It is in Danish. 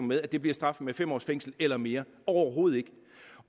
med at det bliver straffet med fem års fængsel eller mere overhovedet ikke